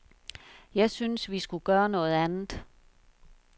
Jeg synes, vi skulle gøre noget andet.